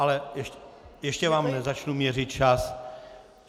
Ale ještě vám nezačnu měřit čas.